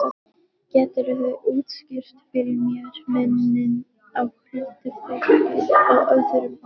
Geturðu útskýrt fyrir mér muninn á huldufólki og öðrum álfum?